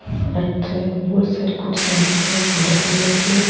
अठे बोली सारी कुर्सियां दिखे भूर कलर की।